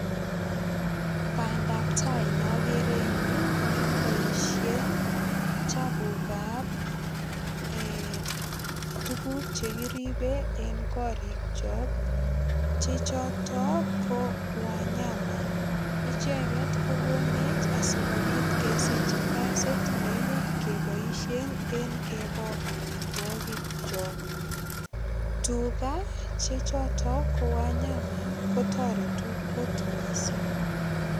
Bandap tai nogere eng yu ko nekiboisien chapukab ee tuguk che kiribe en korikyok che choto ko wanyama. Icheget ko konech asigopit kesich kaasit nemuch keboisie eng keboo amitwogikchok. Tuga che choto ko wanyama kotoretu kot mising.